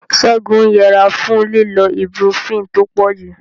Ségun ń yẹra fún lílo ibuprofen tó pọ̀jù.